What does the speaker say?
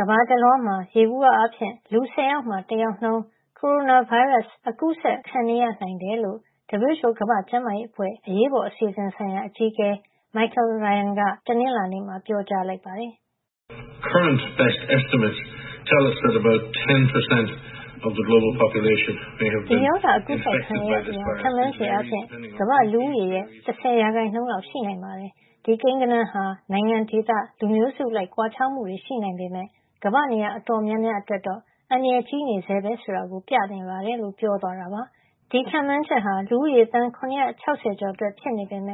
ကမ္ဘာတလွှားမှာ ယေဘူယျ အားဖြင့် လူ၁၀ ယောက်မှာ တယောက်နှုန်း ကိုရိုနာဗိုင်းရပ်စ် အကူးစက် ခံနေရ နိုင်တယ်လို့ WHO ကမ္ဘာ့ကျန်းမာရေးအဖွဲ့ အရေးပေါ်အစီအစဉ် ဆိုင်ရာ အကြီးအကဲ Michael Ryan က တနင်္လာနေ့မှာ ပြောကြားလိုက်ပါတယ်။ "ဒီရောဂါအကူးစက်ခံနေရသူဟာ ခန့်မှန်းချေအားဖြင့် ကမ္ဘာ့လူဦးရေရဲ့ ၁၀ ရာခိုင်နှုန်း လောက်ရှိနိုင် ပါတယ်။ ဒီကိန်းဂဏန်းဟာ နိုင်ငံ၊ ဒေသ၊ လူမျိုးစု အလိုက် ကွာခြားမှုရှိနိုင်ပေမယ့် ကမ္ဘာ့ နေရာ အတော်များများ အတွက်တော့ အန္တရာယ်ကြီးနေဆဲပဲ ဆိုတာ ပြနေပါတယ်" လို့ ပြောသွားတာပါ။ ဒီခန့်မှန်းချက်အရ လူဦးရေ သန်း ၇၆၀ ကျော်မှာ ဖြစ်ပွါးနေတာ ဖြစ်ပြီး ဒါဟာ လ